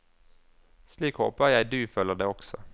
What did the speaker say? Slik håper jeg du føler det også.